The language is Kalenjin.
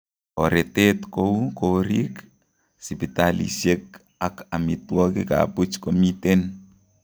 Toretet kouu koriik, sipitalisiek ak omitwogik ab buch komiten